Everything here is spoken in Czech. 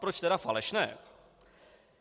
Proč tedy falešné?